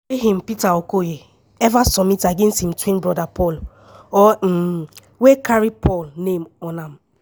wey im peter okoye ever submit against im twin brother paul or um wey carry paul name on am.